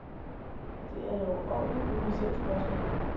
Det er et overordentligt kompliceret spørgsmål.